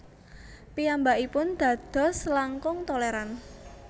Piyambakipun dados langkung tolèran